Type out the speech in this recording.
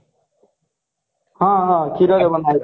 ହଁ ହଁ କ୍ଷୀର ରେ ବନାନ୍ତି